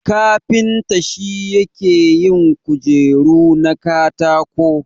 Kafinta shi yake yin kujeru na katako.